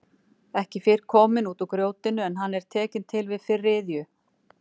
Ekki fyrr kominn út úr grjótinu en hann er tekinn til við fyrri iðju.